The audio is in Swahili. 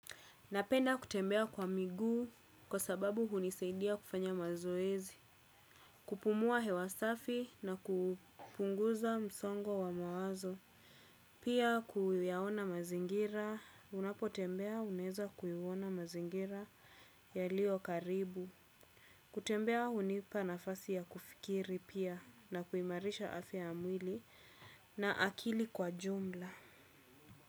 Napenda kutembea kwa miguu kwa sababu hunisaidia kufanya mazoezi. Kupumua hewa safi na kupunguza msongo wa mawazo. Pia kuyaona mazingira. Unapotembea unaeza kuiona mazingira yalio karibu. Kutembea hunipa nafasi ya kufikiri pia na kuimarisha afya ya mwili na akili kwa jumla.